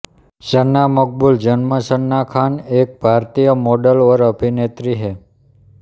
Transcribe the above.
सना मकबूल जन्म सना खान एक भारतीय मॉडल और अभिनेत्री हैं